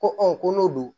Ko ko n'o don